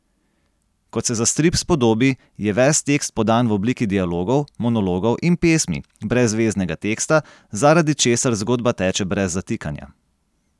Kot se za strip spodobi, je ves tekst podan v obliki dialogov, monologov in pesmi, brez veznega teksta, zaradi česar zgodba teče brez zatikanja.